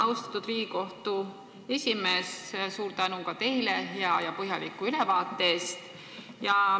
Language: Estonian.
Austatud Riigikogu esimees, suur tänu teile hea ja põhjaliku ülevaate eest!